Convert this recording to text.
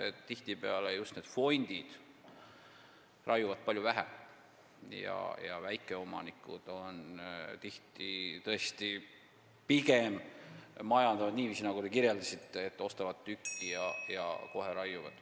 Aga tihtipeale just need fondid raiuvad vähem ja väikeomanikud majandavad pigem niiviisi, nagu te kirjeldasite, st ostavad tüki ja kohe raiuvad.